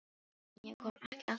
En ég kom ekki alltaf með heim.